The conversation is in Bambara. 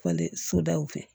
Falen sodaw fɛ